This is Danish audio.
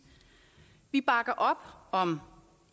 vi bakker op om